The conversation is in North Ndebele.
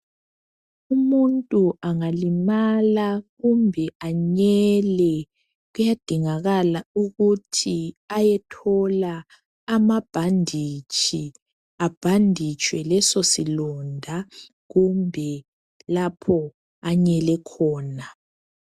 Umuntu angalimala kumbe anyele kuyadingakala ukuthi ayethola amabhanditshi abhanditshwe leso silonda kumbe lapho anyele khona .